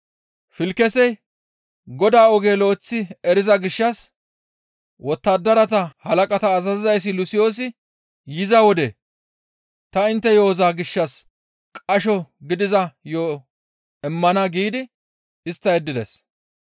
Filkisey Godaa oge lo7eththi eriza gishshas, «Wottadarata halaqata azazizayssi Lusiyoosi yiza wode ta intte yo7oza gishshas qasho gidiza yo7o immana» giidi istta yeddides.